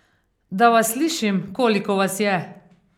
Da vas slišim, koliko vas je?